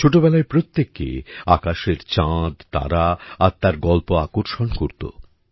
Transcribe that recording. ছোটবেলায় প্রত্যেককে আকাশের চাঁদ তারা আর তার গল্প আকর্ষণ করতো